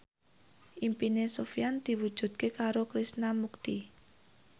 impine Sofyan diwujudke karo Krishna Mukti